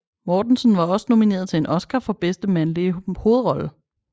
Mortensen var også nomineret til en Oscar for bedste mandlige hovedrolle